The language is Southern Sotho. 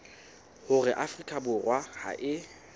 hore afrika borwa ha e